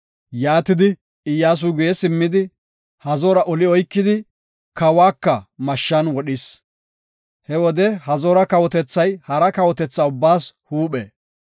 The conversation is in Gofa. Yaatidi, Iyyasuy guye simmidi, Hazoora oli oykidi, kawuwaka mashshan wodhis. He wode Hazoora kawotethay hara kawotethaa ubbaas huuphe.